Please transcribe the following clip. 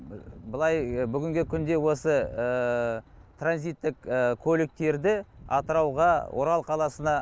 былай бүгінгі күнде осы транзиттік көліктерді атырауға орал қаласына